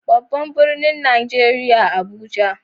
Babban birnin Najeriya Abuja.